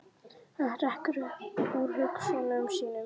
Hann hrekkur upp úr hugsunum sínum.